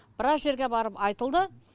біраз жерге барып айтылды